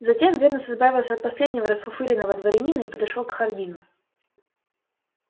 затем венус избавился от последнего расфуфыренного дворянина и подошёл к хардину